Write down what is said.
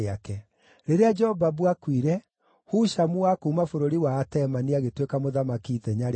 Rĩrĩa Jobabu aakuire, Hushamu wa kuuma bũrũri wa Atemani agĩtuĩka mũthamaki ithenya rĩake.